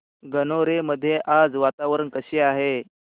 गणोरे मध्ये आज वातावरण कसे आहे